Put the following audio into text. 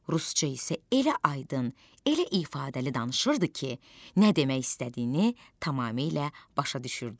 Rusca isə elə aydın, elə ifadəli danışırdı ki, nə demək istədiyini tamamilə başa düşürdük.